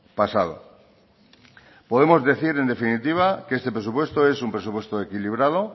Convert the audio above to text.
pasado podemos decir en definitiva que este presupuesto es un presupuesto equilibrado